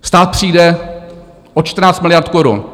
Stát přijde o 14 miliard korun.